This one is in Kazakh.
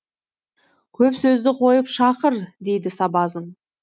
көп сөзді қойып шақыр дейді сабазың